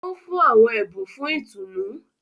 O nfun awọn ẹbun fún ìtùnú.